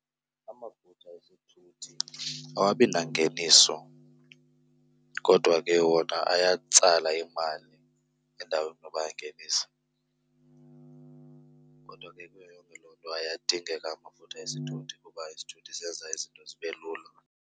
Amafutha esithuthi awabi nangeniso kodwa ke wona ayatsala imali endaweni yoba ayayingenisa. Kodwa ke kuyo yonke loo nto ayadingeka amafutha esithuthi kuba isithuthi senza izinto zibe lula.